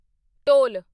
ਢੋਲ